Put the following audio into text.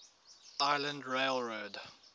island rail road